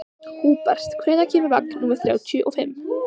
Húbert, hvenær kemur vagn númer þrjátíu og fimm?